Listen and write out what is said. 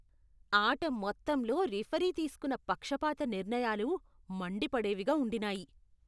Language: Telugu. ఆట మొత్తంలో రిఫరీ తీసుకున్న పక్షపాత నిర్ణయాలు మండిపడేవిగా ఉండినాయి.